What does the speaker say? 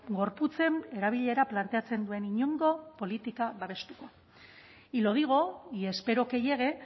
gorputzen erabilera planteatzen duen inongo politika babestuko y lo digo y espero que llegue